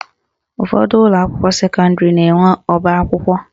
Ụfọdụ ụlọakwụkwọ sekọndịrị na-enwe ọbakwụkwọ